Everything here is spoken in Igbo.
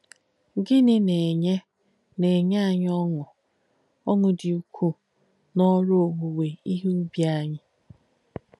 Gìnì nà-ènyé nà-ènyé ànyì ọṅụ́ dí ukù n’òrū òwúwé íhe ùbì ányì?